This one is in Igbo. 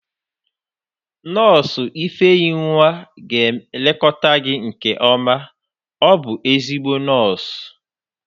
Nọọsụ ifeyinwa ga-elekọta gị nke ọma, ọ bụ ezigbo nọọsụ